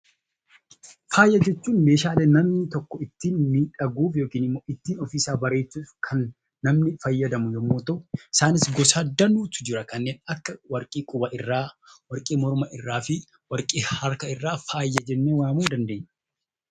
Faaya jechuun meeshaa namni tokko ittiin miidhaguuf yookaan ittiin of bareechuuf kan namni fayyadamu yemmuu ta'u, Isaan keessas danuutu jira kanneen akka warqii quba irraa , warqii morma irraa fi harka irraa faaya jennee waamuu dandeenya.